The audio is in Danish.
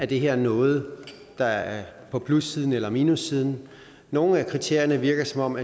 det er noget der er på plussiden eller minussiden nogle af kriterierne virker som om